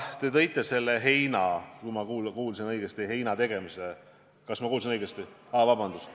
Ja selle mõtte juurde ma kindlasti jään.